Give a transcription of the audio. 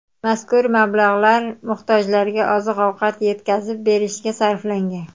Mazkur mablag‘lar muhtojlarga oziq-ovqat yetkazib berishga sarflangan.